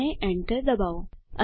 અને એન્ટર દબાવો